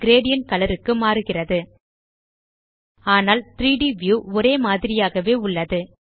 gradient colour க்கு மாறுகிறது ஆனால் 3ட் வியூ ஒரே மாதிரியாகவே உள்ளது